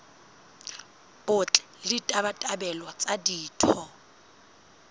botle le ditabatabelo tsa ditho